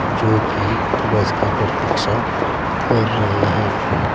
जो की बस की प्रतीक्षा कर रहे हैं।